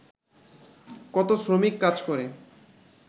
কত শ্রমিক কাজ করে